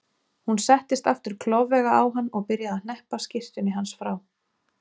Hún settist aftur klofvega á hann og byrjaði að hneppa skyrtunni hans frá.